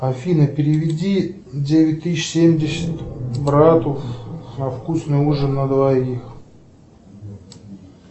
афина переведи девять тысяч семьдесят брату на вкусный ужин на двоих